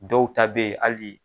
Dɔw ta bɛ hali